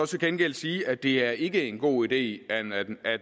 til gengæld sige at det ikke er en god idé at